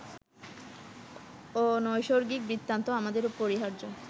অনৈসর্গিক বৃত্তান্ত আমাদের পরিহার্য